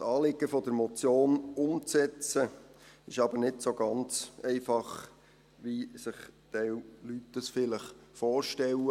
Das Anliegen der Motion umzusetzen, ist aber nicht ganz so einfach, wie ein Teil der Leute sich das vielleicht vorstellen.